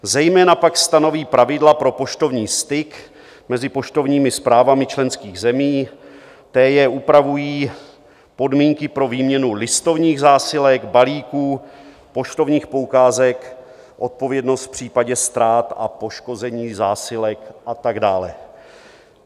Zejména pak stanoví pravidla pro poštovní styk mezi poštovními správami členských zemí, to jest upravují podmínky pro výměnu listovních zásilek, balíků, poštovních poukázek, odpovědnost v případě ztrát a poškození zásilek a tak dále.